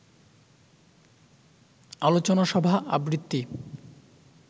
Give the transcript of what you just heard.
আলোচনা সভা, আবৃত্তি